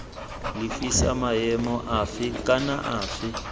lefisa maemo afe kana afe